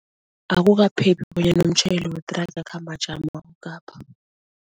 Akukaphephi bonyana umtjhayeli wethraga akhambe ajama